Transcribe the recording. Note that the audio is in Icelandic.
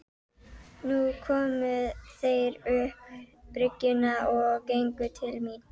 Nú komu þeir upp bryggjuna og gengu til mín.